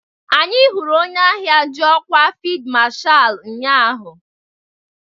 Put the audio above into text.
Anyị hụrụ onye agha ji ọkwa fịldmashal ụnyaahụ.